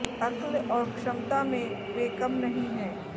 अक्ल और क्षमता में वे कम नहीं हैं